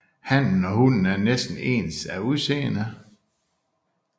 Hannen og hunnen er næsten ens af udseende